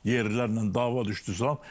Yerlilərlə dava düşdü zad.